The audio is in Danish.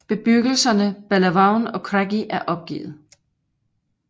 Bebyggelserne Bellavaun og Craggy er opgivet